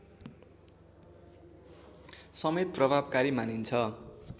समेत प्रभावकारी मानिन्छ